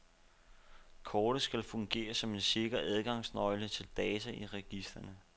Kortet skal fungere som en sikker adgangsnøgle til data i registrene.